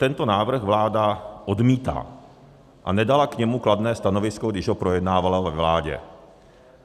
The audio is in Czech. Tento návrh vláda odmítá a nedala k němu kladné stanovisko, když ho projednávala ve vládě.